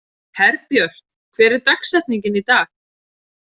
Herbjört, hver er dagsetningin í dag?